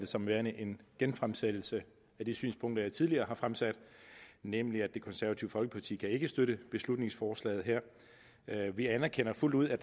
som værende en genfremsættelse af de synspunkter jeg tidligere har fremsat nemlig at det konservative folkeparti ikke kan støtte beslutningsforslaget her vi anerkender fuldt ud at